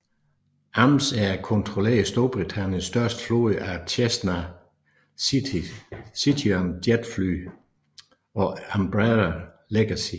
Amsair kontrollerer Storbritanniens største flåde af Cessna Citation jetfly pg Embraer Legacy